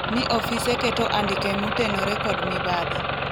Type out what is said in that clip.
ni ofise keto andike motenore kod mibadhi